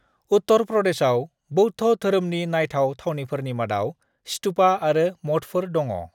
उत्तर प्रदेशाव बौद्ध धोरोमनि नायथाव थावनिफोरनि मादाव स्तूपा आरो मठफोर दङ।